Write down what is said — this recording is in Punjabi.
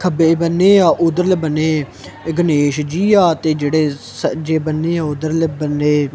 ਖੱਬੇ ਬੰਨੇ ਆ ਉਧਰਲੇ ਬੰਨੇ ਗਣੇਸ਼ ਜੀ ਆ ਤੇ ਜਿਹੜੇ ਸੱਜੇ ਬੰਨੇ ਉਧਰਲੇ ਬੰਨੇ--